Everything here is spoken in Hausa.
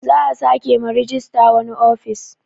Za a sake ma rejista wani ofis